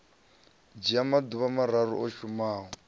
dzhia maḓuvha mararu u shumana